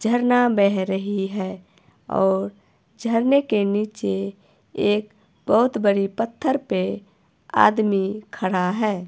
झरना बह रही है और झरने के नीचे एक बहुत बड़ी पत्थर पे आदमी खड़ा है।